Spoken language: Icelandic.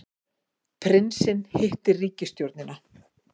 Prinsinn hittir ríkisstjórnina